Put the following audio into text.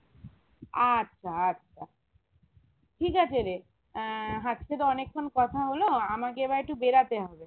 আচ্ছা আচ্ছা ঠিক আছেরে আহ আজকে তো অনেক্ষন কথা হলো আমাকে এবার একটু বেড়াতে হবে